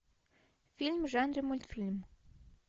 фильм в жанре мультфильм